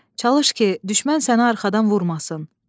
Çalış ki, düşmən sənə arxadan vurmasın.